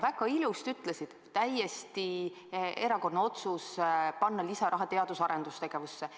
Väga ilusasti ütlesid: täiesti erakordne otsus oli panna lisaraha teadus- ja arendustegevusse.